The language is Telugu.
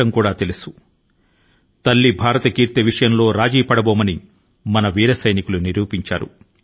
మన వీర సైనికులు భరత మాత యొక్క గౌరవానికి ఎట్టి పరిస్థితుల లోను ఎటువంటి భంగాన్ని కూడాను కలగనివ్వబోమని రుజువు చేశారు